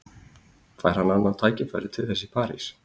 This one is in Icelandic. Fær hann annað tækifæri til þess í París?